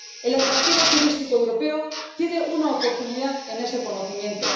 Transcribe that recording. El atractivo turístico europeo tiene una oportunidad en ese conocimiento.